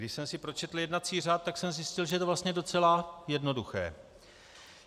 Když jsem si pročetl jednací řád, tak jsem zjistil, že je to vlastně docela jednoduché.